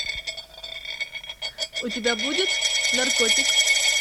у тебя будет наркотик